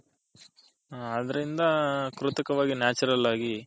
ಅದರಿಂದ ಕೃತಕವಾಗಿ Natural ಆಗಿ .